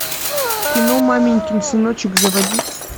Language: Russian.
кино маменькин сыночек заводи